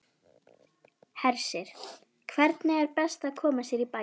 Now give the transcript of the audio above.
Hersir, hvernig er best að koma sér í bæinn?